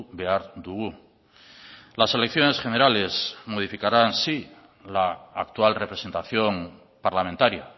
behar dugu las elecciones generales modificarán sí la actual representación parlamentaria